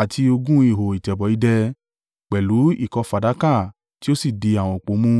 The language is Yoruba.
àti ogún ihò ìtẹ̀bọ̀ idẹ, pẹ̀lú ìkọ́ fàdákà tí ó sì di àwọn òpó mú.